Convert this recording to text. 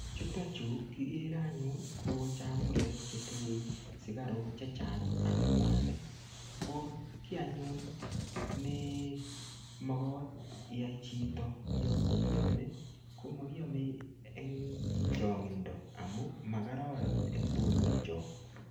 Chutochu kikere anyun, ko chakulek chetinye sikaruk chechang ak mwanik. Ko kiy anyun ne magat iyai chito yaiame, ko makiame eng chang'indo. Amu makararan eng borwek chok.